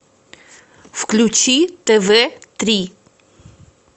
включи тв три